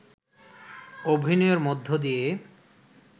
অভিনয়ের মধ্য দিয়ে